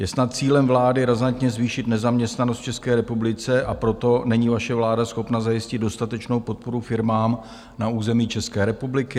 Je snad cílem vlády razantně zvýšit nezaměstnanost v České republice, a proto není vaše vláda schopna zajistit dostatečnou podporu firmám na území České republiky?